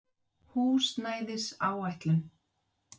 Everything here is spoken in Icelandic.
Gönguferð yfir Ísland